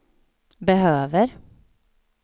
behöver